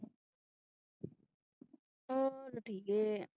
ਹੋਰ ਠੀਕ ਹੈ